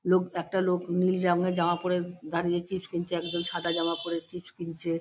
লোক একটা লোক নীল রঙের জামা পরে দাঁড়িয়ে চিপস কিনছে একজন সাদা জামা পরে চিপস কিনছে।